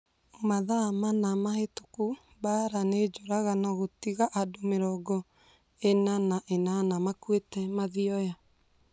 Mathaa mana mahĩtũku Mbaara nĩ njũragano gũtiga andũ mĩrongo ina na inana makuĩte Mathioya